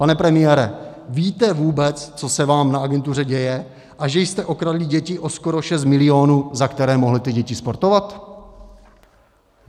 Pane premiére, víte vůbec, co se vám na agentuře děje a že jste okradli děti o skoro 6 milionů, za které mohly ty děti sportovat?